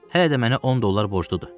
Hələ də mənə 10 dollar borcludur.